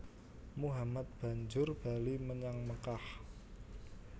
Muhammad banjur bali menyang Mekkah